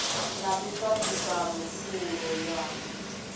na miṱa ṱisano pfulo ya